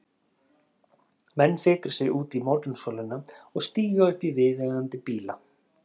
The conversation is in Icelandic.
Menn fikra sig út í morgunsólina og stíga upp í viðeigandi bíla.